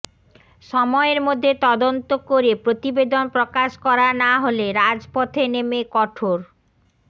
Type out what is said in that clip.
সময়ের মধ্যে তদন্ত করে প্রতিবেদন প্রকাশ করা না হলে রাজপথে নেমে কঠোর